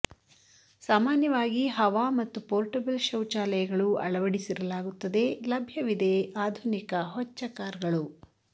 ಸಾಮಾನ್ಯವಾಗಿ ಹವಾ ಮತ್ತು ಪೋರ್ಟಬಲ್ ಶೌಚಾಲಯಗಳು ಅಳವಡಿಸಿರಲಾಗುತ್ತದೆ ಲಭ್ಯವಿದೆ ಆಧುನಿಕ ಹೊಚ್ಚ ಕಾರ್ ಗಳು